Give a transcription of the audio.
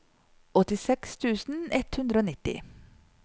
åttiseks tusen ett hundre og nitti